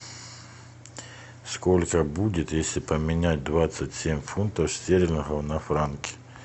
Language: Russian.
сколько будет если поменять двадцать семь фунтов стерлингов на франки